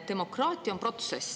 Demokraatia on protsess.